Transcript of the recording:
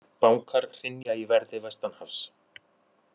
Bankar hrynja í verði vestanhafs